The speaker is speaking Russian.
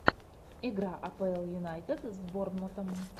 игра апл юнайтед с борнмутом